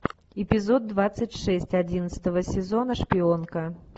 эпизод двадцать шесть одиннадцатого сезона шпионка